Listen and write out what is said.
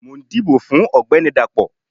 mò n dibò fun ọgbẹni Dapó